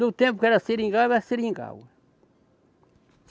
No tempo que era seringal, era seringal.